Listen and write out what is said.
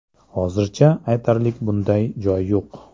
Hozircha aytarlik bunday joy yo‘q.